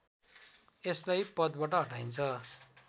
यसलाई पदबाट हटाइन्छ